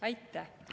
Aitäh!